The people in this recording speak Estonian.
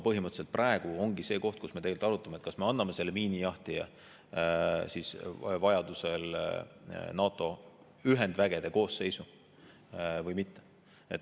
Põhimõtteliselt praegu ongi see koht, kus me arutame, kas me anname selle miinijahtija vajadusel NATO ühendvägede koosseisu või mitte.